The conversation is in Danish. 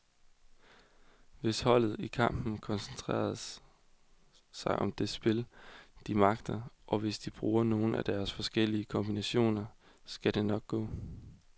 Hvis holdet i kampen koncentrerer sig om det spil, de magter, og hvis de bruger nogle af deres forskellige kombinationer, så skal det nok gå.